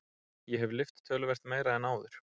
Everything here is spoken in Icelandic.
Ég hef lyft töluvert meira en áður.